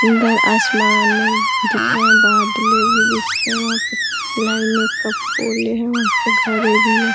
इधर आसमान दिख रहे हैं बादले भी दिख रहे हैं वहाँ पे लाइने का पुल है वहाँ पे घर भी है।